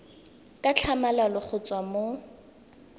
ka tlhamalalo go tswa mo